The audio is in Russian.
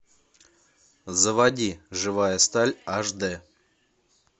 заводи живая сталь аш д